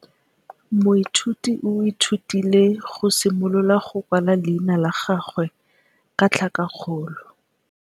Moithuti o ithutile go simolola go kwala leina la gagwe ka tlhakakgolo.